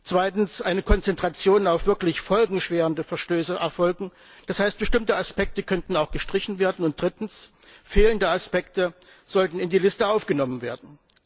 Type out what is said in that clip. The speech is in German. zweitens muss eine Konzentration auf wirklich folgenschwere Verstöße erfolgen das heißt, bestimmte Aspekte könnten auch gestrichen werden und drittens sollten fehlende Aspekte in die Liste aufgenommen werden.